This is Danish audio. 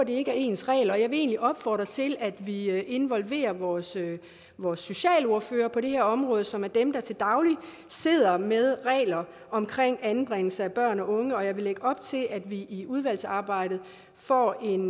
ikke er ens regler og jeg vil egentlig opfordre til at vi involverer vores vores socialordførere på det her område som er dem der til daglig sidder med regler om anbringelse af børn og unge og jeg vil lægge op til at vi i udvalgsarbejdet får en